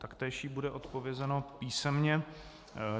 Taktéž jí bude odpovězeno písemně.